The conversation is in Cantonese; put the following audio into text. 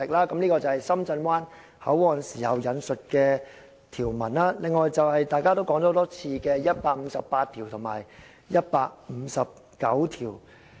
"這些是制定《深圳灣口岸港方口岸區條例》時引述的條文；另外，就是大家提過很多次的《基本法》第一百五十八及一百五十九條。